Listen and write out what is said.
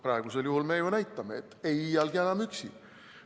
Praegusel juhul me ju näitame, et ei iialgi enam üksi.